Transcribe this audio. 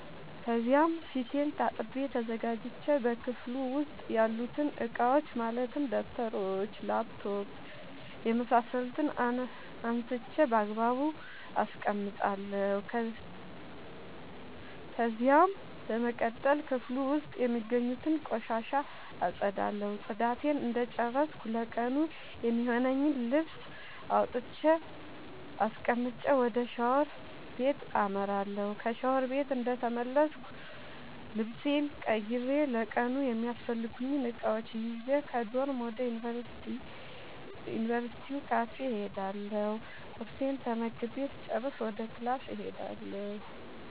ከዚያም ፊቴን ታጥቤ ተዘጋጅቼ በክፍሉ ዉስጥ ያሉትን እቃዎች ማለትም ደብተሮች: ላፕቶፕ የምሳሰሉትን አንስቼ ባግባቡ አስቀምጣለሁ። ከዚያም በመቀጠል ክፍሉ ዉስጥ የሚገኙትን ቆሻሻ አፀዳለሁ ፅዳቴን እንደጨረስኩ ለቀኑ የሚሆነኝን ልብስ አውጥቼ አስቀምጬ ወደ ሻወር ቤት አመራለሁ። ከሻወር ቤት እንደተመለስኩ ልብሴን ቀይሬ ለቀኑ የሚያስፈልጉኝን እቃዎች ይዤ ከዶርም ወደ ዩንቨርስቲው ካፌ እሄዳለሁ ቁርሴን ተመግቤ ስጨርስ ወደ ክላስ እሄዳለሁ።